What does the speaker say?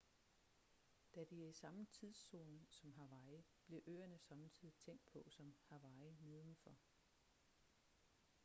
da de er i samme tidszone som hawaii bliver øerne sommetider tænkt på som hawaii nedenfor